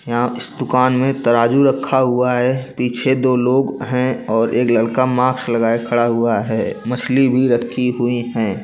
यहाँ इसमें एक तराजू रखा हुआ है पीछे दो लोग हैंऔर एक लड़का मास्क लगाए खड़ा हुआ है मछली भी रखी हुई है।